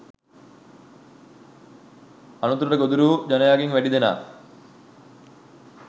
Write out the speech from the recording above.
අනතුරට ගොදුරු වූ ජනයාගෙන් වැඩි දෙනා